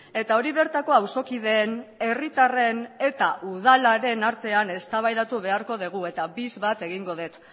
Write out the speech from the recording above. eta hori bertako auzokideen herritarren eta udalaren artean eztabaidatu beharko dugu eta bis bat egingo dut